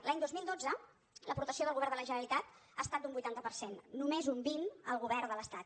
l’any dos mil dotze l’aportació del govern de la generalitat ha estat d’un vuitanta per cent només un vint el govern de l’estat